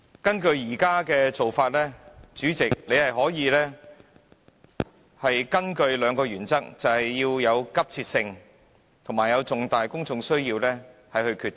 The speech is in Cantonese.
根據現時做法，主席可以根據兩個原則作出決定，分別是有急切性及重大公眾需要。